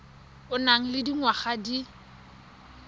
o nang le dingwaga di